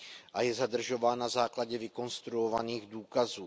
a je zadržován na základě vykonstruovaných důkazů.